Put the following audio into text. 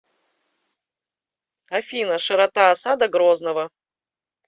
афина широта осада грозного